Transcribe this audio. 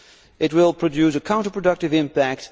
It will produce a counterproductive impact.